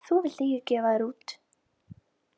Þú vilt ekki gefa þær út